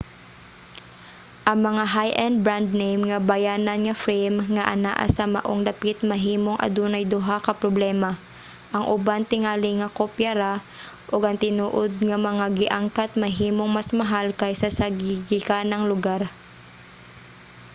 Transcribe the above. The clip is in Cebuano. ang mga high-end brand-name nga bayanan nga frame nga anaa sa maong dapit mahimong adunay duha ka problema; ang uban tingali mga kopya ra ug ang tinuod nga mga gi-angkat mahimong mas mahal kaysa sa gigikanang lugar